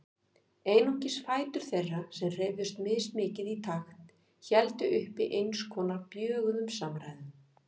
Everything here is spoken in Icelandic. Einungis fætur þeirra, sem hreyfðust mismikið í takt, héldu uppi eins konar bjöguðum samræðum.